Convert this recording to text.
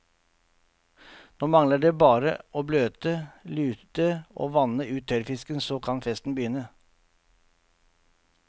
Nå mangler det bare å bløte, lute og vanne ut tørrfisken, så kan festen begynne.